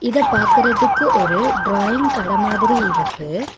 இத பாக்குறதுக்கு ஒரு ட்ராயிங் கட மாதிரி இருக்கு.